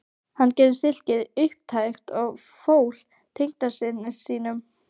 Hann gerði silkið upptækt og fól tengdasyni sínum